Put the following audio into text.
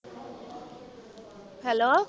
Hello.